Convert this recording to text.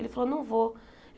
Ele falou, não vou.